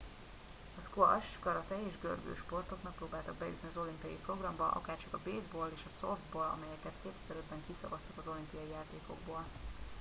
a squash karate és görgősportok megpróbáltak bejutni az olimpiai programba akárcsak a baseball és a softball amelyeket 2005 ben kiszavaztak az olimpiai játékokból